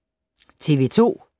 TV 2